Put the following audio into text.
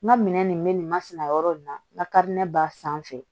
N ka minɛn nin bɛ nin masina yɔrɔ in na n ka kari ne ba sanfɛ